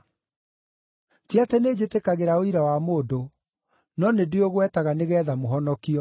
Ti atĩ nĩnjĩtĩkagĩra ũira wa mũndũ; no nĩndĩũgwetaga nĩgeetha mũhonokio.